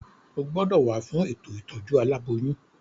O gbọ́dọ̀ wá fún ètò ìtọ́jú aláboyún.